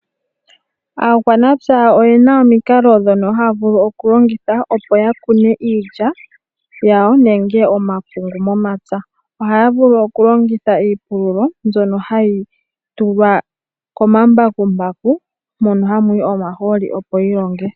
Aakwamaoya oyena omikalo ndhono haya vulu okulongitha opo ya kune iilya yawo nenge omapungu momapya ohaya vulu okulongitha iipululo mbyono hayi tulwa komambakumbaku mono hamu yi omaholi opo yi longe.